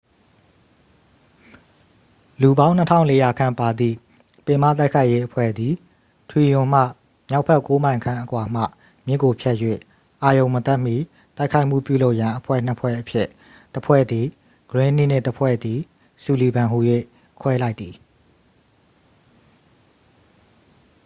လူပေါင်း 2400 ခန့်ပါသည့် ပင်မတိုက်ခိုက်ရေးအဖွဲ့သည် ထရီတွန်မှ မြောက်ဘက် 9 မိုင်ခန့်အကွာမှ မြစ်ကိုဖြတ်၍ အာရုဏ်မတက်မီ တိုက်ခိုက်မှုပြုလုပ်ရန် အဖွဲ့ 2 ဖွဲ့အဖြစ် တစ် ဖွဲ့သည် ဂရင်းနှီး နှင့် တစ် ဖွဲ့သည် ဆူလီဗန် ဟူ၍ ခွဲလိုက်သည်